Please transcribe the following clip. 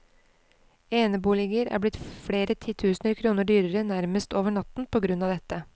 Eneboliger er blitt flere titusener kroner dyrere nærmest over natten på grunn av dette.